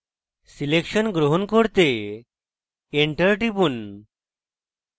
selection গ্রহণ করতে enter টিপুন